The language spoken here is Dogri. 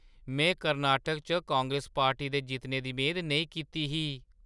में कर्नाटक च कांग्रेस पार्टी दे जित्तने दी मेद नेईं कीती ही।